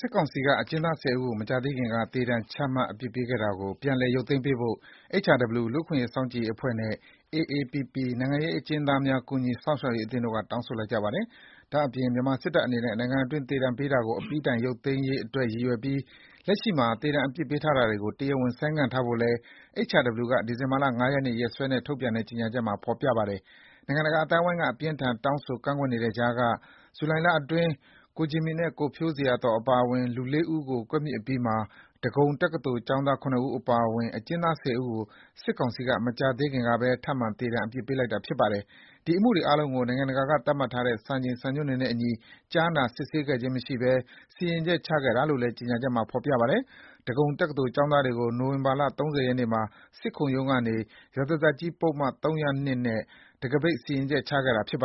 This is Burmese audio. စစ်ကောင်စီက မကြာသေးခင်က သေဒဏ်ချမှတ်အပြစ်ပေးခဲ့တာကို ပြန်လည် ရုပ်သိမ်းပေးဖို့ HRW လူ့အခွင့်အရေးစောင့်ကြည့်ရေးအဖွဲ့နဲ့ AAPP နိုင်ငံရေးအကျဉ်းသားများ ကူညီ စောင့်ရှောက်ရေးအသင်းတို့က တောင်းဆိုလိုက်ကြပါတယ်။ ဒါ့အပြင် မြန်မာစစ်တပ်အနေနဲ့ နိုင်ငံအတွင်း သေဒဏ်ပေးတာကို အပြီးတိုင် ရုပ်သိမ်းရေးအတွက် ရည်ရွယ်ပြီး လက်ရှိမှာ သေဒဏ်အပြစ်ပေးတာတွေကို တရားဝင်ဆိုင်းငံ့ထားဖို့လည်း HRW က ဒီဇင်ဘာ ၅ ရက်နေ့ ရက်စွဲနဲ့ ထုတ်ပြန်တဲ့ ကြေညာချက်မှာ ဖော်ပြထားပါတယ်။ နိုင်ငံတကာအသိုင်းဝိုင်းက အပြင်းအထန် တောင်းဆိုနေတဲ့ကြားက ဇူလိုင်လအတွင်း ကိုဂျင်မီနဲ့ကိုဖြိုးဇေယျာသော်အပါအဝင် လူ ၄ ဦးကို ကွပ်မျက်အပြီးမှာ ဒဂုံတက္ကသိုလ်ကျောင်းသား ၇ ဦးအပါအဝင် အကျဉ်းသား ၁၀ ဦးကို စစ်ကောင်စီက မကြာသေးခင်ကပဲ ထပ်မံ သေဒဏ်အပြစ်ပေးလိုက်တာ ဖြစ်ပါတယ်။ ဒီ အမှုတွေအားလုံးကို နိုင်ငံတကာသတ်မှတ်ထားတဲ့ စံချိန်စံညွန်းတွေနဲ့အညီ ကြားနာစစ်ဆေးခြင်းမရှိဘဲ စီရင်ချက်ချခဲ့တာလို့လည်း ကြေညာချက်မှာ ဖော်ပြပါတယ်။ ဒဂုံတက္ကသိုလ်ကျောင်းသားတွေကို နိုဝင်ဘာ ၃၀ ရက်နေ့မှာ စစ်ခုံရုံးကနေ ရာဇသတ်ကြီးပုဒ်မ ၃၀၂ နဲ့ တံခါးပိတ် စီရင်ချက်ချခဲ့တာပါ။ သူ